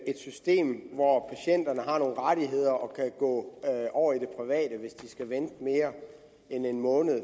et system hvor patienterne har nogle rettigheder og kan gå over i det private hvis de skal vente mere end en måned